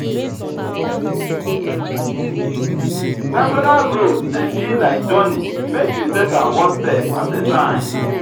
personal growth dey be like journey make you take am one step at a time.